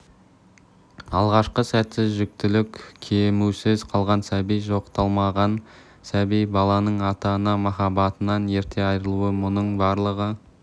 алғашқы сәтсіз жүктілік көмусіз қалған сәби жоқталмаған сәби баланың ата-ана махаббатынан ерте айырылуы мұның барлығы